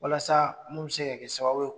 Walasa mun be se ka kɛ sababu ye